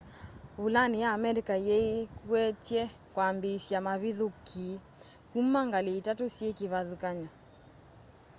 vulani ya amerika yeekwety'e kwambiisya mavithukii kuma ngali itatu syi kivathukany'o